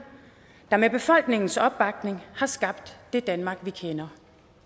der med befolkningens opbakning har skabt det danmark vi kender